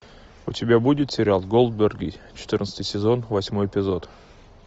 у тебя будет сериал голдберги четырнадцатый сезон восьмой эпизод